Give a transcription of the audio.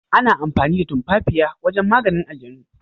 Ana amfani da tumafafiya wajen maganin aljanu.